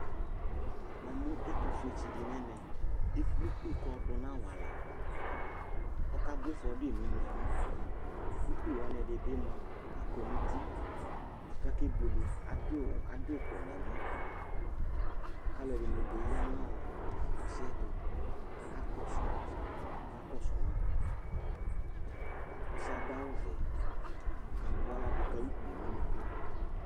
Namʊ ɛtʊƒʊetsɩɗɩ nʊ ɛmɛ eƙple ʊgbɩ ƙaƴɔɗʊnʊ awala ƙɔƙaɓʊa ɩƒɔɗʊƴɩ nʊ ʊnʊƙʊ ʊƙpɩ ɛɗɩnɩɓɩ aƙɔnʊ ʊtɩ ƙaƙe ɓʊele aɗɩƴɩ ʊƙʊ nʊ ɛmɔ alʊɛɗɩnɩɓɩ aƴa nʊ asɩƴɛ ɛtʊ ƙaƙasʊ ma ɔsɩƴɛ aɗʊ awʊ ɔʋɛ ɔƙaɓʊalaɗʊƙʊ ʊƙpɩƴɛnʊ ʊnʊƙʊ